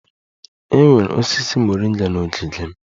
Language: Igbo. E nwere osisi moringa n'ogige m